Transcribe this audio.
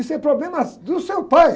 Isso é problema do seu pai.